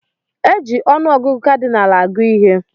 Eji ọnụ ọgụgụ kadịnal agụ ihe